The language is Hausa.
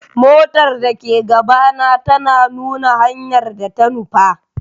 Motar da ke gabana tana nuna hanyar da ta nufa.